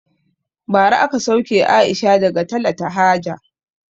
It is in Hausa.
Bara aka sauke Aisha daga talata haja